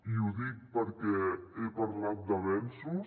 i ho dic perquè he parlat d’avenços